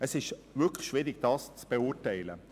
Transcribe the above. Es ist wirklich schwierig, die Situation zu beurteilen.